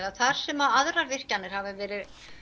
að þar sem aðrar virkjanir hafa verið